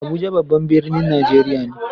Abuja babban birnin Najeriya ne.